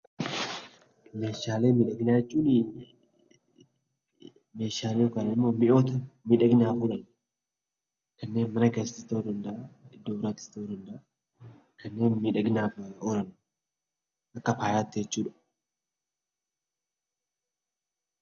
Meeshaalee miidhaginaa jechuun meeshaalee yookiin mi'oota miidhaginaaf oolan kanneen mana keessatti, iddoo biraattis ta'uu danda'a kanneen miidhaginaaf oolan Akka faayaatti jechuudha.